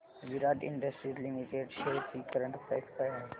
विराट industries limited shares ची current price काय आहे